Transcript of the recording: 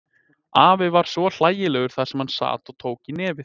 Afi var svo hlægilegur þar sem hann sat og tók í nefið.